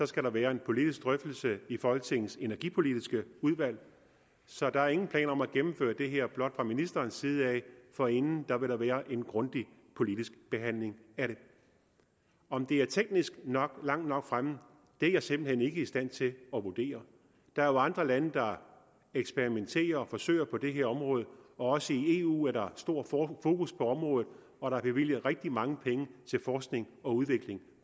skal der være en politisk drøftelse i folketingets energipolitiske udvalg så der er ingen planer om at gennemføre det her blot fra ministerens side for inden vil der være en grundig politisk behandling af det om det er teknisk langt nok fremme er jeg simpelt hen ikke i stand til at vurdere der er jo andre lande der eksperimenterer og forsøger på det her område og også i eu er der stor fokus på området og der er bevilget rigtig mange penge til forskning og udvikling